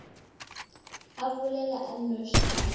a bolela a nnoši a